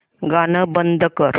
गाणं बंद कर